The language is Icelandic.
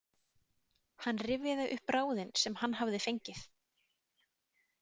Hann rifjaði upp ráðin sem hann hafði fengið.